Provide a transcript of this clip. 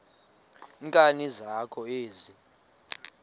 nkani zakho ezi